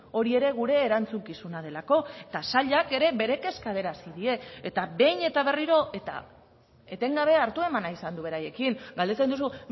hori ere gure erantzukizuna delako eta sailak ere bere kezka adierazi die eta behin eta berriro eta etengabe hartu eman izan du beraiekin galdetzen duzu